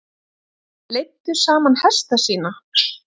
Leiddu saman hesta sína